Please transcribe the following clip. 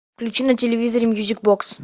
включи на телевизоре мьюзик бокс